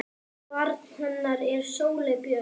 Barn hennar er Sóley Björk.